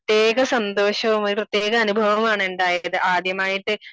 സന്തോഷോം ഒരു പ്രത്യേക അനുഭവവും ആണുണ്ടായത് ആദ്യമായിട്ട്